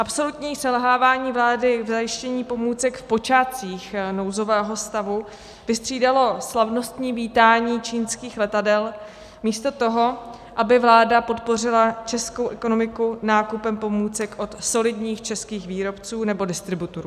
Absolutní selhávání vlády k zajištění pomůcek v počátcích nouzového stavu vystřídalo slavnostní vítání čínských letadel místo toho, aby vláda podpořila českou ekonomiku nákupem pomůcek od solidních českých výrobců nebo distributorů.